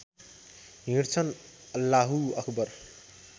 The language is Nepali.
हिँड्छन् अल्लाहु अक्बर